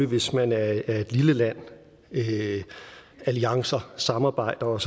hvis man er et lille land alliancer og samarbejder og